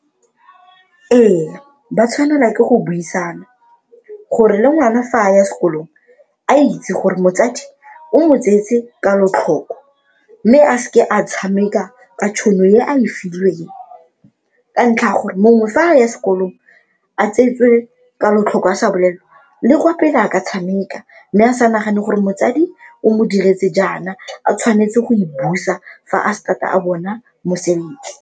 Ee, ba tshwanelwa ke go buisana gore le ngwana fa a ya sekolong a itse gore motsadi o mo tseetse kalotlhoko mme a se ke a tshameka ka tšhono e a e filweng ka ntlha ya gore mongwe fa a ya sekolong a tsweetswe kalotlhoko a sa bolelwa le kwa pele a ka tshameka mme a sa nagane gore motsadi o mo diretse jaana a tshwanetse go e busa fa a start-a a bona mosebetsi.